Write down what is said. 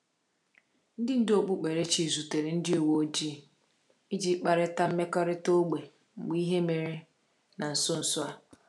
Ndị ndú okpukperechi zutere ndị uwe ojii iji kparịta mmekọrịta ógbè mgbe ihe mere na nso nso a.